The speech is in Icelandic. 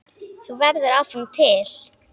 Þú verður áfram til.